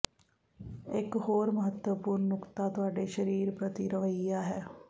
ਇਕ ਹੋਰ ਮਹੱਤਵਪੂਰਣ ਨੁਕਤਾ ਤੁਹਾਡੇ ਸਰੀਰ ਪ੍ਰਤੀ ਰਵੱਈਆ ਹੈ